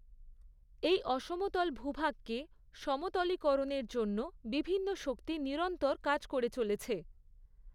এই অসমতল ভূভাগকে সমতলীকরণের জন্য বিভিন্ন শক্তি নিরন্তর কাজ করে চলেছে।